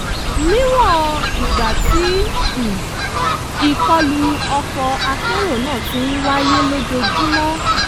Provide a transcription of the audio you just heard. níwọ̀n ìgbà tí um ìkọlù ọkọ̀-akérò náà ti ń wáyé lójoojúmọ́